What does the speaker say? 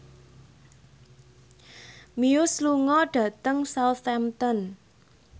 Muse lunga dhateng Southampton